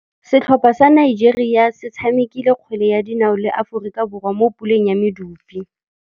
Setlhopha sa Nigeria se tshamekile kgwele ya dinaô le Aforika Borwa mo puleng ya medupe.